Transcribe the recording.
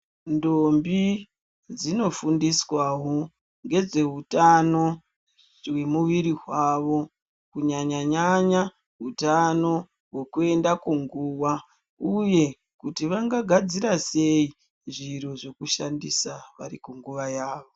Ndombi dzinofundiswawo ngezveutano hwemuviri hwavo kunyanya nyanya hutano hwokuenda kunguwa uye kuti vangagadzirasei zviro zvekushandisa varikuguwa yavo.